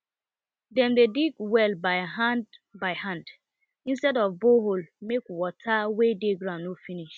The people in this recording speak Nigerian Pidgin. dem dey dig well by hand by hand instead of borehole make water wey dey ground no finish